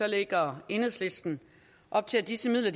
lægger enhedslisten op til at disse midler